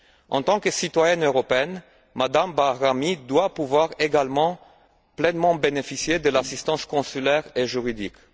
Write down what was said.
En tant que citoyenne européenne, Mme Bahrami doit pouvoir également pleinement bénéficier de l'assistance consulaire et juridique.